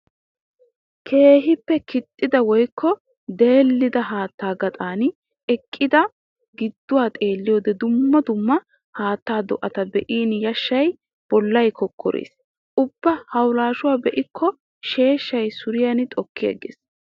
Keehippe kixxidda woykko deelidda haata gaxan eqqiddi giduwaa xeeliyoode dumma dumma haatta do'atta be'in yashan bollay kokkorees. Ubba hawulashuwa be'ikko sheeshshay suriyan xokkigees.